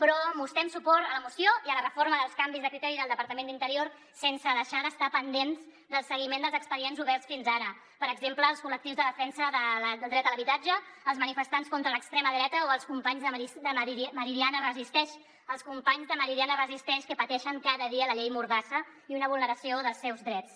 però mos·trem suport a la moció i a la reforma dels canvis de criteri del departament d’in·terior sense deixar d’estar pendents del seguiment dels expedients oberts fins ara per exemple als col·lectius de defensa del dret a l’habitatge als manifestants contra l’extrema dreta o als companys de meridiana resisteix als companys de meridiana resisteix que pateixen cada dia la llei mordassa i una vulneració dels seus drets